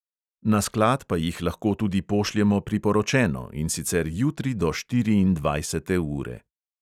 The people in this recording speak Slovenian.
Na sklad pa jih lahko tudi pošljemo priporočeno, in sicer jutri do štiriindvajsete ure.